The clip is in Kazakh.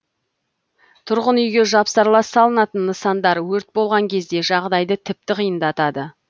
тұрғын үйге жапсарлас салынатын нысандар өрт болған кезде жағдайды тіпті қиындатады